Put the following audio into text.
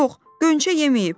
Yox, Gönçə yeməyib.